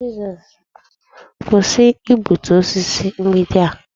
Kwụsị igbutu osisi mgbidi a.